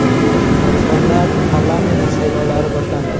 Qirg‘izistonda parlament saylovlari boshlandi.